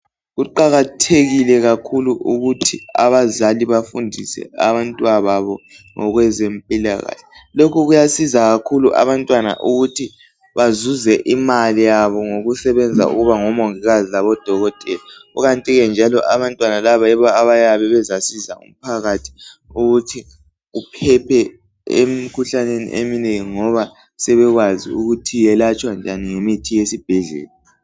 kuqakathekile kakhulu ukuthi abazali bafundise abantwa babo ngokwezempilakahle lokhu kuyasiza kakhulu abantu ukuthi bazuze imali yabo ngokusebenza ukuba ngomongikazi labodokotela kukanti ke abantwana laba abayabe bezasiza umphakathi ukuthi uphephe emikhuhlaneni eminengi ngoba sebekwazi ukuthi yelatshwa njani ngemithi yesibhedlela